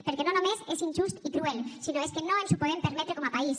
perquè no només és injust i cruel sinó és que no ens ho podem permetre com a país